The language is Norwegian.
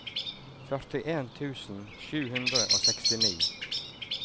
førtien tusen sju hundre og sekstini